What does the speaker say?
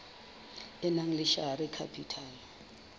e nang le share capital